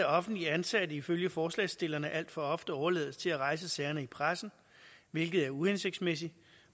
offentligt ansatte ifølge forslagsstillerne alt for ofte overlades til at rejse sagerne i pressen hvilket er uhensigtsmæssigt